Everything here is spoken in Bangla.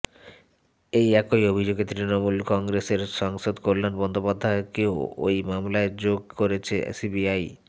এই একই অভিযোগে তৃণমূল কংগ্রেসের সাংসদ কল্যাণ বন্দ্যোপাধ্যায়কেও এই মামলায় যোগ করেছে সিবিআই